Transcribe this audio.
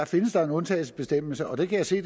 findes der en undtagelsesbestemmelse og det kan jeg se